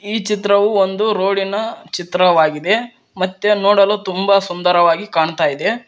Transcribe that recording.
ಈ ಚಿತ್ರವೂ ಒಂದು ರೋಡಿ ನ ಚಿತ್ರವಾಗಿದೆ ಮತ್ತೆ ನೋಡಲು ತುಂಬಾ ಸುಂದರವಾಗಿ ಕಾಣ್ತಾ ಇದೆ.